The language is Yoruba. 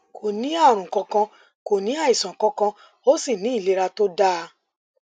kò ní àrùn kankan kò ní àìsàn kankan ó sì ní ìlera tó dáa